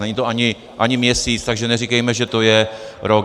Není to ani měsíc, takže neříkejme, že to je rok.